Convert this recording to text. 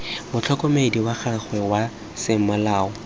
motlhokomedi wa gagwe wa semolao